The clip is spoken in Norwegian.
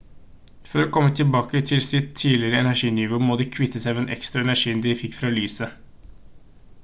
for å komme tilbake til sitt tidligere energinivå må de kvitte seg med den ekstra energien de fikk fra lyset